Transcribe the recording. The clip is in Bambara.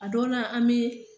A dɔw la an me